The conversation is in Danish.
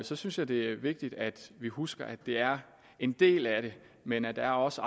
så synes jeg det er vigtigt at vi husker at det er en del af det men at der også